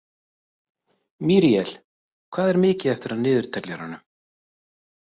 Míríel, hvað er mikið eftir af niðurteljaranum?